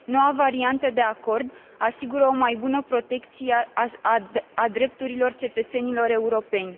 Noua variantă de acord asigură o mai bună protecție a drepturilor cetățenilor europeni.